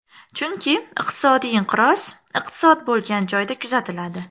Chunki iqtisodiy inqiroz iqtisod bo‘lgan joyda kuzatiladi.